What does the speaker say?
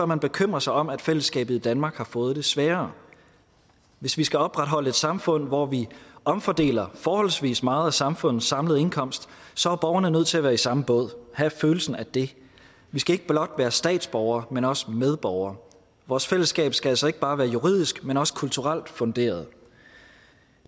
man bekymre sig om at fællesskabet i danmark har fået det sværere hvis vi skal opretholde et samfund hvor vi omfordeler forholdsvis meget af samfundets samlede indkomst så er borgerne nødt til at være i samme båd have følelsen af det vi skal ikke blot være statsborgere men også medborgere vores fællesskab skal altså ikke bare være juridisk men også kulturelt funderet